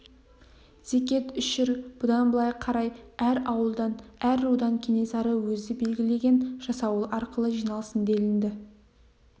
зекет үшір бұдан былай қарай әр ауылдан әр рудан кенесары өзі белгілеген жасауыл арқылы жиналсын делінді